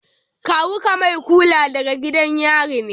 Kawu ka mai kula da gidan yari ne?